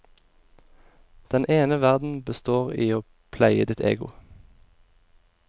Den ene verden består i å pleie ditt ego.